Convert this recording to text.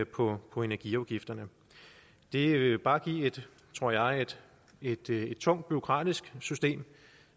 på på energiafgifterne det vil bare give tror jeg et tungt bureaukratisk system